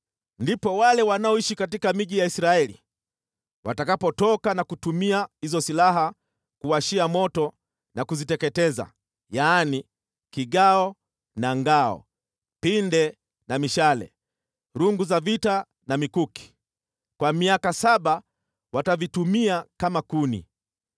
“ ‘Ndipo wale wanaoishi katika miji ya Israeli watakapotoka na kutumia hizo silaha kuwashia moto na kuziteketeza, yaani, kigao na ngao, pinde na mishale, rungu za vita na mikuki. Kwa miaka saba watavitumia kama kuni.